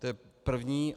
To je první.